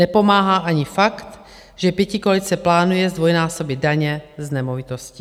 Nepomáhá ani fakt, že pětikoalice plánuje zdvojnásobit daně z nemovitostí.